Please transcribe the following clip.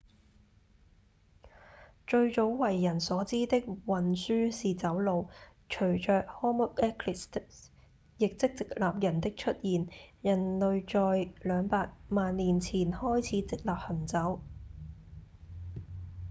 最早為人所知的運輸是走路隨著 homo erectus 亦即直立人的出現人類在兩百萬年前開始直立行走